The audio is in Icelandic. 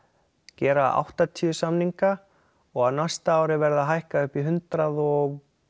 gera áttatíu samninga og á næsta ári verði það hækkað upp í hundrað og